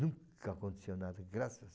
Nunca aconteceu nada, graças